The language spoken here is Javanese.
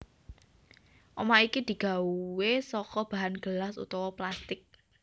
Omah iki digawé saka bahan gelas utawa plastik